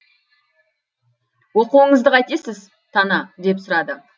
оқуыңызды қайтесіз тана деп сұрады